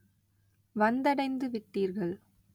வந்தடைந்துவிட்டீர்கள்.